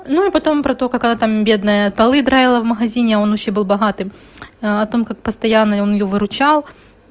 ну и потом про то как она там бедная полы драила в магазине а он ещё был богатым о том как постоянный он её выручал